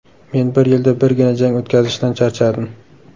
Men bir yilda birgina jang o‘tkazishdan charchadim.